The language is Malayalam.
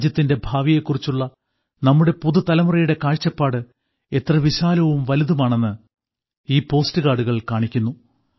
രാജ്യത്തിന്റെ ഭാവിയെക്കുറിച്ചുള്ള നമ്മുടെ പുതുതലമുറയുടെ കാഴ്ചപ്പാട് എത്ര വിശാലവും വലുതുമാണെന്ന് ഈ പോസ്റ്റ് കാർഡുകൾ കാണിക്കുന്നു